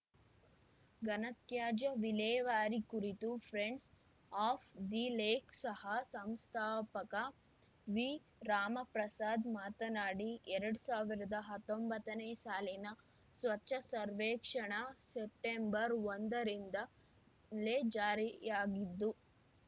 ಘನತ್ಯಾಜ್ಯ ವಿಲೇವಾರಿ ಕುರಿತು ಫ್ರೆಂಡ್ಸ್‌ ಆಫ್‌ ದಿ ಲೇಕ್‌ ಸಹ ಸಂಸ್ಥಾಪಕ ವಿರಾಮಪ್ರಸಾದ್‌ ಮಾತನಾಡಿ ಎರಡು ಸಾವಿರದ ಹತ್ತೊಂಬತ್ತನೇ ಸಾಲಿನ ಸ್ವಚ್ಛ ಸರ್ವೇಕ್ಷಣಾ ಸೆಪ್ಟೆಂಬರ್ಒಂದರಿಂದಲೇ ಜಾರಿಯಾಗಿದ್ದು